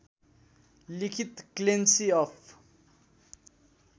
लिखित Clancy of